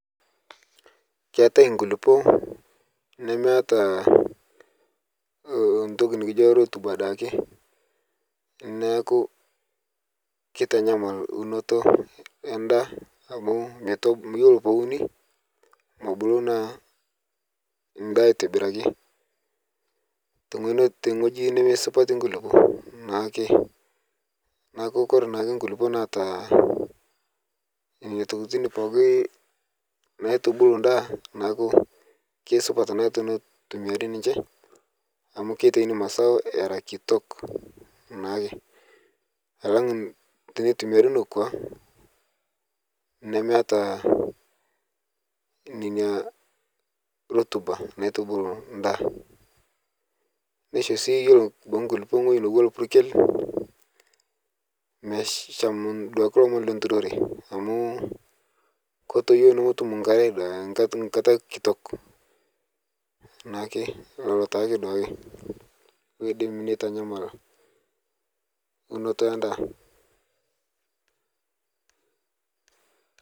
Keetae nkulupuok nemeeta entoki nkijo rutuba daake, neeku kitanyamal unoto endaa amu yiolo pee euni, nebulu naa nada aitobiraki teweji nemesupati nkulupuok. Neeku ore naake nkulupuok naata nena tokiting pookin naitubulu ndaa, neeku kesupat teneitumiyari ninche amu kitayuni masao naake. Alang teneitumiyari nekwa nemeeta rutuba naitubulu ndaa .Neisho sii ore nkulupuok egwei etiua naa rpukel, meshan duake nturore amu ketoyio nemetum nkare nkata kitok. neeku lelo taake oidim neitanyamal unoto endaa.